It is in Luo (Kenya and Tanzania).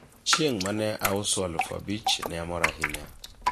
chieng' mane auso aluf abich ne amor ahinya